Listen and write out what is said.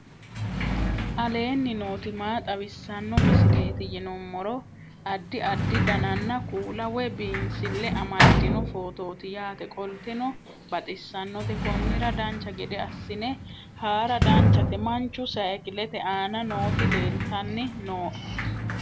aleenni nooti maa xawisanno misileeti yinummoro addi addi dananna kuula woy biinsille amaddino footooti yaate qoltenno baxissannote konnira dancha gede assine haara danchate manchu saykilete aana nooti leltanni nooe